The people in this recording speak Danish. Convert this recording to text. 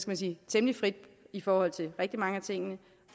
man sige temmelig frit i forhold til rigtig mange af tingene